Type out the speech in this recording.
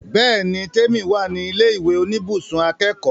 Bẹ́ẹ̀ni l, Tèmi wà ní ilé ìwé oníbùsùn akẹ́kọ̀ọ́